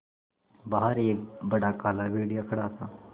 बाहर एक बड़ा काला भेड़िया खड़ा था